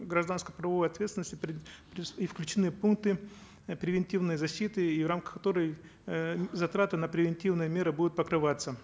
гражданско правовой ответственности и включены пункты э превентивной защиты в рамках которой э затраты на превентивные меры будут покрываться